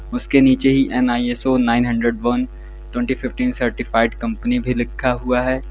उसके नीचे N I S O nine hundred one twenty fifteen certified company भी लिखा हुआ है।